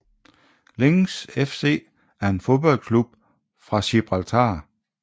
Lynx FC er en fodboldklub fra Gibraltar